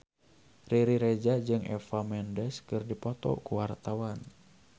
Riri Reza jeung Eva Mendes keur dipoto ku wartawan